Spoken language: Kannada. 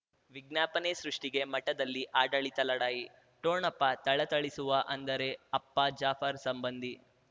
ವಿಜ್ಞಾಪನೆ ಸೃಷ್ಟಿಗೆ ಮಠದಲ್ಲಿ ಆಡಳಿತ ಲಢಾಯಿ ಠೊಣಪ ಥಳಥಳಿಸುವ ಅಂದರೆ ಅಪ್ಪ ಜಾಫರ್ ಸಂಬಂಧಿ